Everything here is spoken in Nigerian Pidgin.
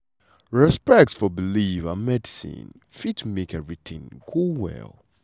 respect for belief and medicine fit make everything go well.